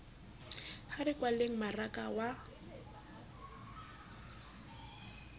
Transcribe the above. ha re kwaleng mmaraka wa